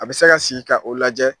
A bɛ se ka sigi ka o lajɛ